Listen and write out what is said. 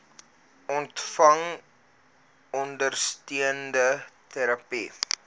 ontvang ondersteunende terapie